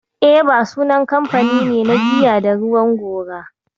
Eva sunan kamfani ne na giya da ruwan gora.